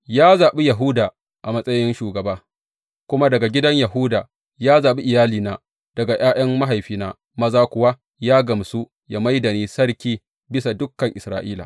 Ya zaɓi Yahuda a matsayin shugaba, kuma daga gidan Yahuda ya zaɓi iyalina, daga ’ya’yan mahaifina maza kuwa ya gamsu ya mai da ni sarki bisa dukan Isra’ila.